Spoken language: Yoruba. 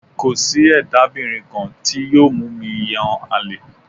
Kò sí ẹ̀dábìnrin kan tí yóò mú mi yàn àlè